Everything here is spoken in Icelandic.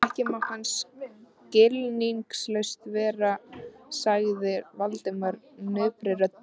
Jæja, ekki má hann skilningslaus vera sagði Valdimar napurri röddu.